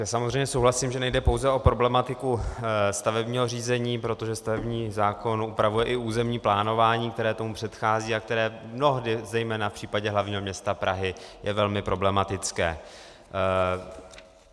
Já samozřejmě souhlasím, že nejde pouze o problematiku stavebního řízení, protože stavební zákon upravuje i územní plánování, které tomu předchází a které mnohdy, zejména v případě hlavního města Prahy, je velmi problematické.